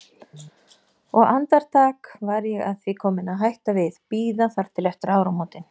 Og andartak var ég að því komin að hætta við, bíða þar til eftir áramótin.